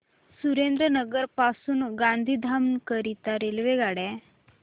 सुरेंद्रनगर पासून गांधीधाम करीता रेल्वेगाड्या